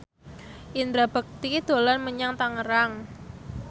Indra Bekti dolan menyang Tangerang